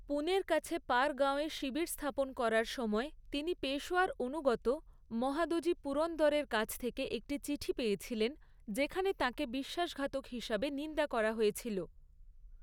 পুণের কাছে পারগাঁওয়ে শিবির স্থাপন করার সময় তিনি পেশোয়ার অনুগত মহাদজি পুরন্দরের কাছ থেকে একটি চিঠি পেয়েছিলেন, যেখানে তাঁকে বিশ্বাসঘাতক হিসাবে নিন্দা করা হয়েছিল।